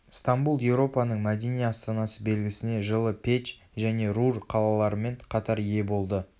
стамбул еуропаның мәдени астанасы белгісіне жылы печ және рур қалаларымен қатар ие болды